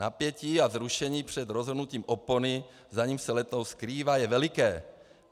Napětí a vzrušení před rozhrnutím opony, za níž se letoun skrývá, je veliké.